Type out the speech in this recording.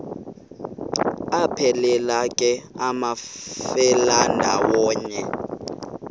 aphelela ke amafelandawonye